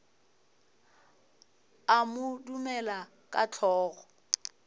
a mo dumela ka hlogo